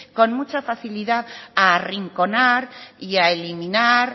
con mucha facilidad a arrinconar y a eliminar